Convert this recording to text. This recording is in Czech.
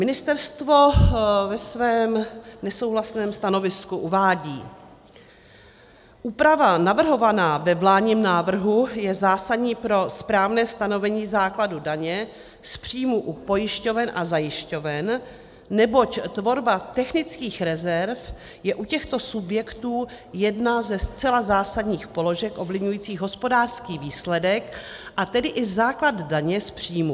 Ministerstvo ve svém nesouhlasném stanovisku uvádí: "Úprava navrhovaná ve vládním návrhu je zásadní pro správné stanovení základu daně z příjmů u pojišťoven a zajišťoven, neboť tvorba technických rezerv je u těchto subjektů jedna ze zcela zásadních položek ovlivňujících hospodářský výsledek, a tedy i základ daně z příjmů.